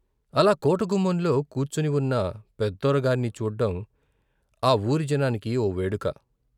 అలా కోటగుమ్మంలో కూర్చునివున్న పెద్దొర గార్ని చూడ్డం ఆ వూరి జనానికి ఓ వేడుక.